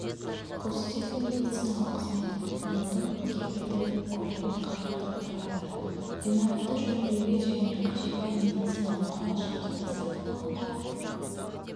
көрсететін медициналық қызметтітұтынудың кепілді көлемін қамтудан тұрады ғимаратты жөндеуге және қажетті медициналық құрал-жабдықты сатып алуға